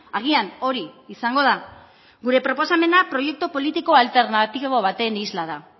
agian hori izango da gure proposamena proiektu politiko alternatibo baten isla da